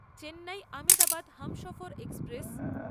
Chennai Ahmedabad Humsafar express